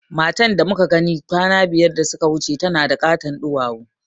Matan da muka gani kwana biyar da suka wuce tana da ƙaton duwawu